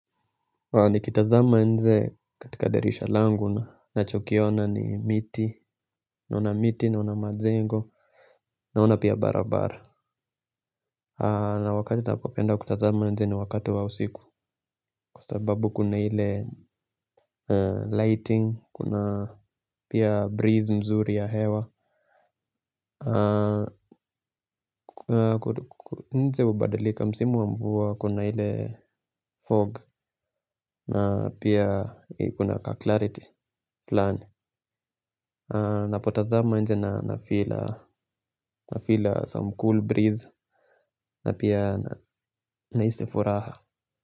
Nikitazama nje katika dirisha langu ninachokiona ni miti, naona miti, naona majengo, naona pia barabara. Na wakati napopenda kutazama nje ni wakati wa usiku. Kwa sababu kuna ile lighting, kuna pia breeze nzuri ya hewa. Nje hubadilika, msimu wa mvua kuna hile fog na pia kuna clarity plan. Napotazama nje na nafeel, nafeel some cool breeze, na pia nahisi furaha.